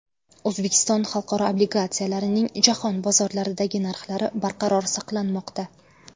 O‘zbekiston xalqaro obligatsiyalarining jahon bozorlaridagi narxlari barqaror saqlanmoqda.